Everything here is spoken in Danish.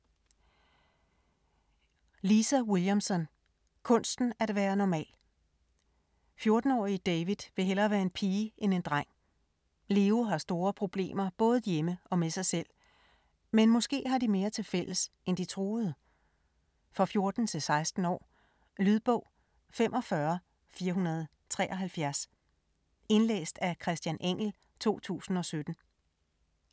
Williamson, Lisa: Kunsten at være normal 14-årige David vil hellere være en pige end en dreng. Leo har store problemer både hjemme og med sig selv. Men måske har de mere til fælles end de troede? For 14-16 år. Lydbog 45473 Indlæst af Christian Engell, 2017. Spilletid: 9 timer, 9 minutter.